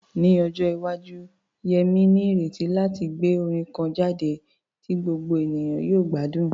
Ní ọjọ́ iwájú, Yemi ní ìrètí láti gbé orin kan jáde tí gbogbo ènìyàn yóò gbádùn.